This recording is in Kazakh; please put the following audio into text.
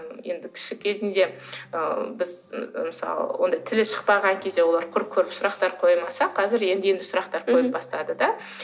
енді кіші кезінде ы біз мысалы ондай тілі шықпаған кезде олар құр көріп сұрақтар қоймаса қазір енді енді сұрақтар қоя бастады да